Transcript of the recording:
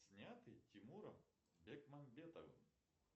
снятый тимуром бекмамбетовым